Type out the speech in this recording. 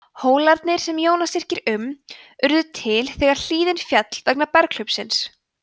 hólarnir sem jónas yrkir um urðu til þegar hlíðin féll vegna berghlaupsins